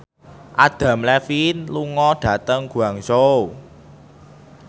Adam Levine lunga dhateng Guangzhou